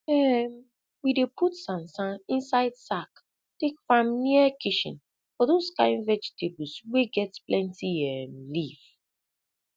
um we dey put sansan inside sack take farm near kishen for dose kin vegetables wey get plenti um leaf